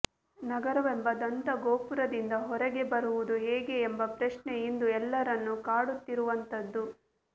ನಗರವೆಂಬ ದಂತಗೋಪುರದಿಂದ ಹೊರಗೆ ಬರುವುದು ಹೇಗೆ ಎಂಬ ಪ್ರಶ್ನೆ ಇಂದು ಎಲ್ಲರನ್ನೂ ಕಾಡುತ್ತಿರುವಂಥದ್ದು